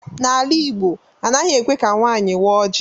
N'ala Igbo, anaghị ekwe ka nwaanyị waa oji.